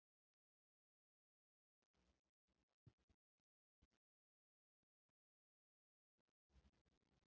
Hann kvaðst hafa samið textann fyrir Magnús Kjartansson.